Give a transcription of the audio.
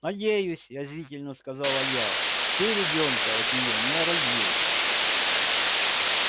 надеюсь язвительно сказала я ты ребёнка от нее не родил